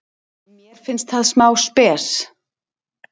Mér finnst það smá spes.